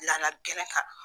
Nana geren kan